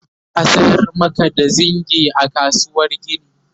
za'a sayar Maka da zingi a kasuwar gini